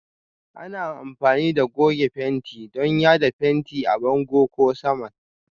Ana amfani da goge fenti don yada fenti a bango ko saman